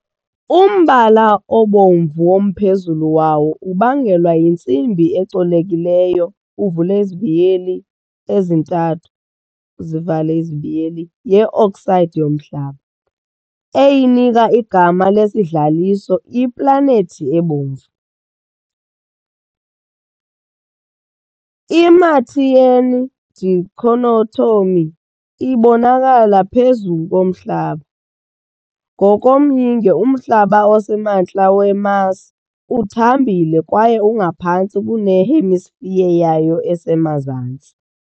Umbala obomvu womphezulu wawo ubangelwa yintsimbi ecolekileyo, III, ye-oxide yomhlaba, eyinika igama lesidlaliso iPlanethi eBomvu. I- Martian dichotomy ibonakala phezu komhlaba, ngokomyinge, umhlaba osemantla we-Mars uthambile kwaye ungaphantsi kune-hemisphere yayo esemazantsi.